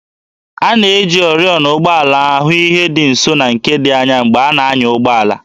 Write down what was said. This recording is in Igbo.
A na-eji oriọna ụgbọala ahụ ihe dị nso na nke dị anya mgbe a na-anya ụgbọala